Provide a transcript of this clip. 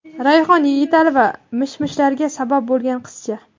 Rayhon, Yigitali va mish-mishlarga sabab bo‘lgan qizcha.